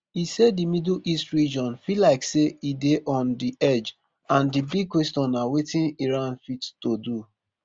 e say di middle east region feel like say e dey on di edge and di big question na wetin iran fit to do